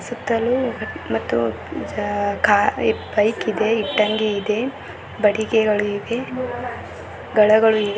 ಸುತ್ತಲೂ ಮತ್ತು ಕಾ ಬೈಕ ಇದೆ ಇಟ್ಟಂಗೆ ಇದೆ ಬಡಿಗೆಗಳು ಇವೆ ಗಳಗಳು ಇ --